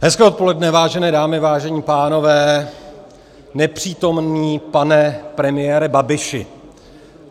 Hezké odpoledne, vážené dámy, vážení pánové, nepřítomný pane premiére Babiši.